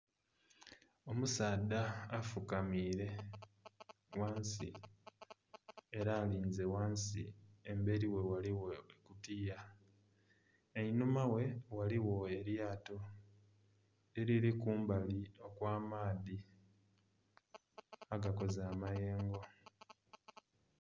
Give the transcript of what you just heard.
Omusaadha afukamiire ghansi era alinze ghansi emberi ghe ghaligho akakutiya einhuma ghe ghaligho eryato eriri kumbali okw'amaadhi agakoze amayengo.